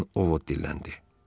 Birdən Ovod dilləndi.